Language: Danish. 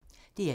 DR1